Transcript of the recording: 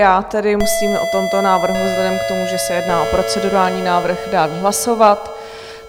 Já tedy musím o tomto návrhu vzhledem k tomu, že se jedná o procedurální návrh, dát hlasovat.